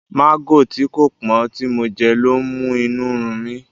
Mágò tí kò pọ́n tí mo jẹ lọ́ ń mú inú run mí.